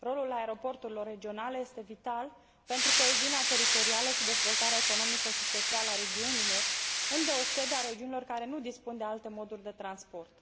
Rolul aeroporturilor regionale este vital pentru coeziunea teritorială și dezvoltarea economică și socială a regiunilor, îndeosebi a regiunilor care nu dispun de alte moduri de transport.